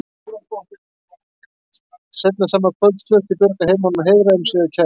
Seinna sama kvöld flutti Björg að heiman og hreiðraði um sig hjá kærastanum.